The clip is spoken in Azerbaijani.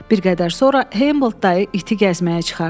Bir qədər sonra Hamboldt dayı iti gəzməyə çıxardı.